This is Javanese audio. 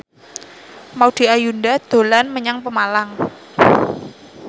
Maudy Ayunda dolan menyang Pemalang